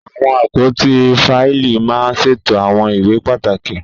Àwọn àpótí fáìlì máa ń ṣètò àwọn ìwé pàtàkì.